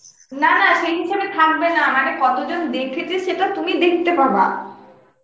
না না সেই হিসাবে থাকবে না, মানে কতজন দেখেছে সেটা তুমি দেখতে পাবা